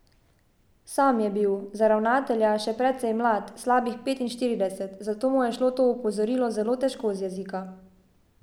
Sam je bil, za ravnatelja, še precej mlad, slabih petinštirideset, zato mu je šlo to opozorilo zelo težko z jezika.